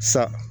Sa